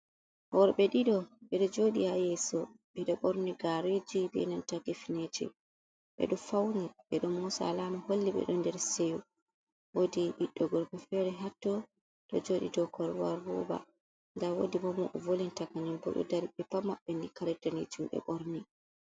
Worɓe ɗiɗo ɓe ɗo jooɗi haa yeeso, ɓe ɗo borni gaareji be nanta kifneje. Ɓe ɗo fauni, ɓe ɗo moosa, alama holli ɓe ɗo nder seyo. Woodi ɓiɗɗo gorko fere hatto ɗo jooɗi dou korwal roba. Ndaa woodi bo mo o volinta kanyum bo ɗo dari, ɓe pat maɓɓe ni kare daneejum ɓe ɓorni.